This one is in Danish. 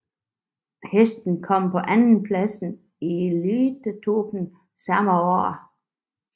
Hesten kom på andenpladsen i Elitloppet samme år